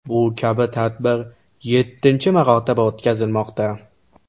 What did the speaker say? Bu kabi tadbir yettinchi marotaba o‘tkazilmoqda .